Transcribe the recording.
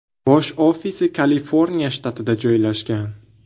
Bosh ofisi Kaliforniya shtatida joylashgan.